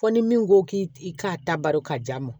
Fɔ ni min ko k'i k'a ta baro ka ja ma